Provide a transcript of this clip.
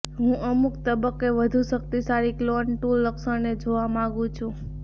હું અમુક તબક્કે વધુ શક્તિશાળી ક્લોન ટૂલ લક્ષણને જોવા માંગુ છું